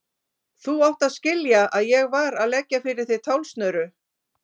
Þú átt að skilja að ég var að leggja fyrir þig tálsnöru.